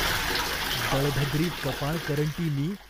दळभद्री, कपाळकरंटी मी.